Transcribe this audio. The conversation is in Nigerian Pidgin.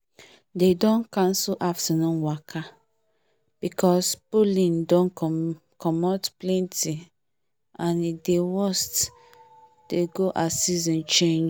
dey don cancel afternoon waka because pollen don commot plenty and e dey worst dey go as season change